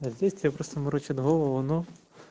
а здесь тебе просто морочат голову ну